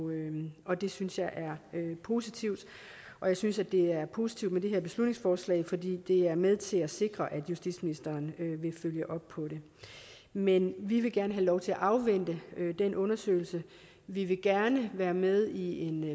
og det synes jeg er positivt og jeg synes at det er positivt med det her beslutningsforslag fordi det er med til at sikre at justitsministeren vil følge op på det men vi vil gerne have lov til at afvente den undersøgelse vi vil gerne være med i en